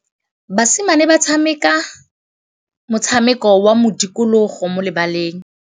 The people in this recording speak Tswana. Basimane ba tshameka motshameko wa modikologô mo lebaleng.